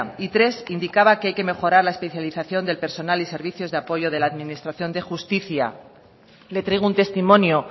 y tres indicaba que hay que mejorar la especialización del personal y servicios de apoyo de la administración de justicia le traigo un testimonio